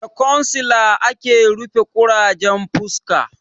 Da kwansila ake rufe ƙurajen fuska